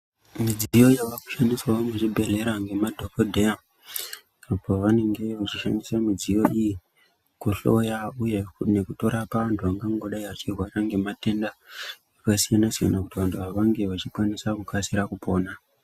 Midziyo yavakushandiswawo muzvibhedhleya ngemadhokodheya apo vanenge vechishandisa midziyo iyi kuhloya uye nekutorapa antu angangodai achirwara ngematenda akasiyana siyana kuti vantu ava vange vachikwanisa kukasira kupona.